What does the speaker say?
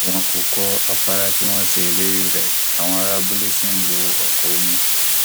wọn kò kọ àfárá tí wọn ṣe ìlérí rẹ àwọn ará abúlé ṣi ń lo ọkọ omi